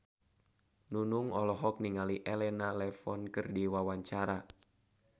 Nunung olohok ningali Elena Levon keur diwawancara